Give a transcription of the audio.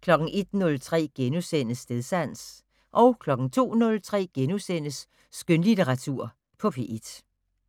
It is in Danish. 01:03: Stedsans * 02:03: Skønlitteratur på P1 *